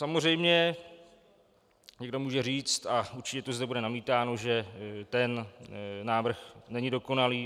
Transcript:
Samozřejmě někdo může říct, a určitě to zde bude namítáno, že ten návrh není dokonalý.